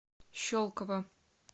щелково